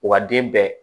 Wa den bɛɛ